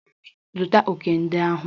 Zụta òkè ndị ahụ!